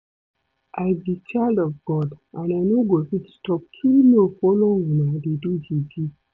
I be child of God and I no go fit stoop too low follow una dey do juju